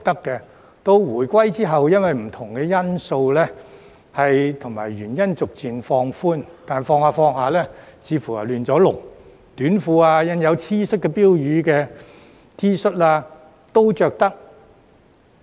直至回歸後，因應不同因素而逐漸放寬，但慢慢放寬得似乎有點"亂籠"，短褲、印有標語的 T 恤都可以穿回來。